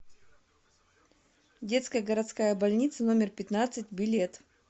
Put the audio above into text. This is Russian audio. детская городская больница номер пятнадцать билет